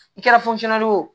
I kɛra ye o